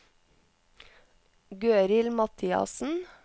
Gøril Mathiassen